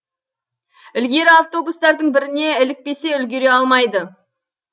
ілгері автобустардың біріне ілікпесе үлгере алмайды